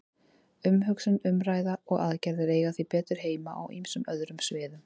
Umhugsun, umræða og aðgerðir eiga því betur heima á ýmsum öðrum sviðum.